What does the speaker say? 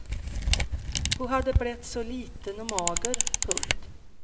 Hon hade blivit så liten och mager. punkt